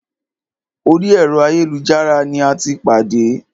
Orí ẹ̀rọ ayélujára ní a tí pàdé.